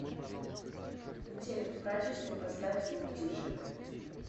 телек в прачечной поставь звук тише